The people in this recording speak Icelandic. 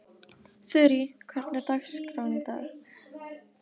Þurí, hvernig er dagskráin í dag?